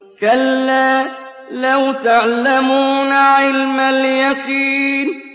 كَلَّا لَوْ تَعْلَمُونَ عِلْمَ الْيَقِينِ